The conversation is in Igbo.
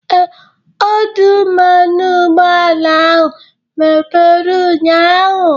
Ee, ọdụ mmanụ ụgbọala ahụ mepere ụnyaahụ.